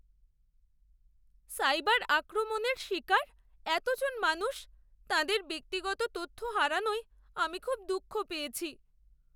Cyber আক্রমণের শিকার এতজন মানুষ তাঁদের ব্যক্তিগত তথ্য হারানোয় আমি খুব দুঃখ পেয়েছি।